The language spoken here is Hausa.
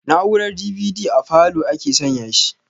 Na'urar DVD a falow ake san ya shi